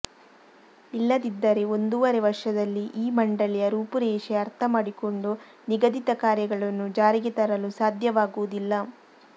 ಇಲ್ಲದಿದ್ದರೆ ಒಂದೂವರೆ ವರ್ಷದಲ್ಲಿ ಈ ಮಂಡಳಿಯ ರೂಪುರೇಷೆ ಅರ್ಥಮಾಡಿಕೊಂಡು ನಿಗದಿತ ಕಾರ್ಯಗಳನ್ನು ಜಾರಿಗೆ ತರಲು ಸಾಧ್ಯವಾಗುವುದಿಲ್ಲ